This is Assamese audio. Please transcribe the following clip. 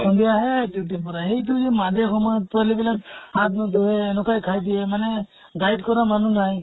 সন্ধিয়াহে duty ৰ পৰা সেইটো যে মাজে সময়ে পোৱালী বিলাক হাত ন্ধুয়ে, এনʼকাই খাই দিয়ে। মানে guide কৰা মানুহ নাই।